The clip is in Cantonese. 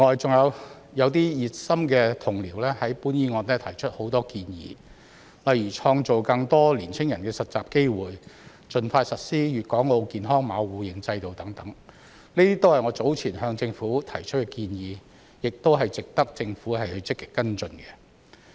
此外，熱心的同僚就本議案提出了很多建議，例如創造更多年輕人的實習機會、盡快實施粵港澳健康碼互認制度等，這些均是我早前向政府提出的建議，亦值得政府積極跟進。